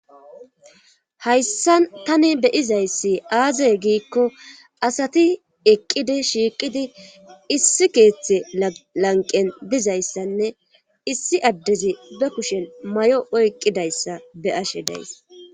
Hayssa tani beyizayssi aazey giikko asati eqqidi shiiqidi issi keeththe lanqen dizayssanne issi addezi be kushen may'o oyqqidayssa be ashe days.